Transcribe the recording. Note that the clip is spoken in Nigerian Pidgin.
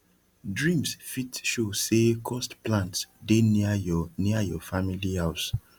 dreams fit show say cursed plants dey near your near your family house